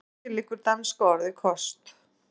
Að baki liggur danska orðið kost.